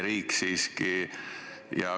Oleme ju siiski e-riik.